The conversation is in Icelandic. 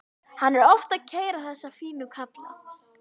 Hann er oft að keyra þessa fínu kalla.